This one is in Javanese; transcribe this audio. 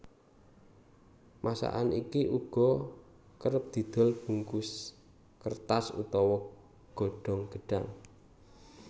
Masakan iki uga kerep didol bungkus kertas utawa godhong gedhang